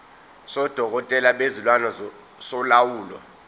sodokotela bezilwane solawulo